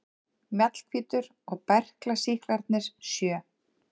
Mjallhvítur og berklasýklarnir sjö.